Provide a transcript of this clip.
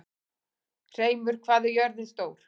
Hreimur, hvað er jörðin stór?